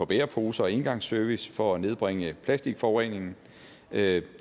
bæreposer og engangsservice for at nedbringe plasticforureningen det